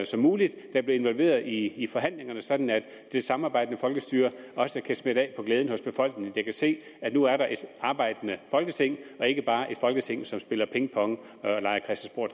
som muligt der bliver involveret i i forhandlingerne sådan at det samarbejdende folkestyre også kan smitte af og glæde befolkningen fordi den kan se at nu er der et arbejdende folketing og ikke bare et folketing som spiller pingpong og leger